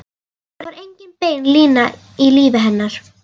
Það var engin bein lína í lífi hennar.